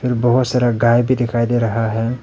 फ़िर बहोत सारा गाय भी दिखाई दे रहा है।